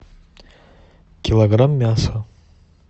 килограмм мяса